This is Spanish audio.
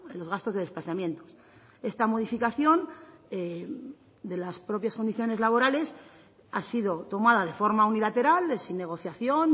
los gastos de desplazamientos esta modificación de las propias condiciones laborales ha sido tomada de forma unilateral sin negociación